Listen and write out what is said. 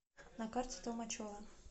на карте толмачево